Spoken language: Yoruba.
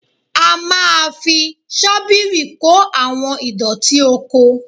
A máa fi ṣọ́bìrì kó àwọn ìdọ̀tí oko